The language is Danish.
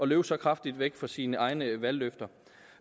løbe så kraftigt væk fra sine egne valgløfter